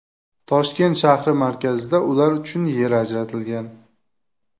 Toshkent shahri markazida ular uchun yer ajratilgan.